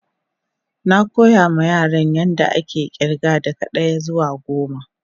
Na koya ma Yaran yan da ake irga daga daya zuwa goma.